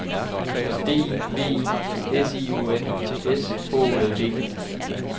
D I V I S I O N S H O L D